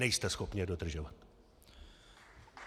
Nejste schopni je dodržovat!